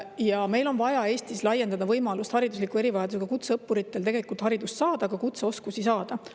Jah, meil on vaja Eestis laiendada võimalust haridusliku erivajadusega kutseõppuritel haridust saada, ka kutseoskusi saada.